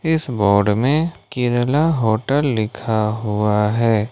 इस बोर्ड में केरला होटल लिखा हुआ है।